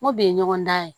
N ko bɛ ɲɔgɔn dan ye